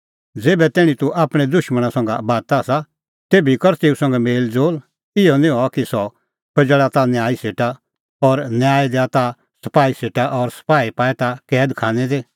ज़ेभै तैणीं तूह आपणैं दुशमणा संघा बाता आसा तेभी कर तेऊ संघै मेल़ज़ोल़ इहअ निं हआ कि सह पजैल़ा ताह न्यायी सेटा और न्यायी दैआ ताह सपाही सेटा और सपाही पाए ताह कैद खानै दी